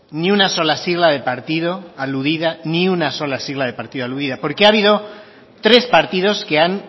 ni una sola sigla de partido aludida ni una sola sigla de partido aludida porque ha habido tres partidos que han